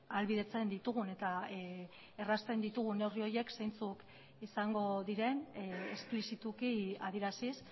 ahalbidetzen ditugun eta errazten ditugun neurri horiek zeintzuk izango diren esplizituki adieraziz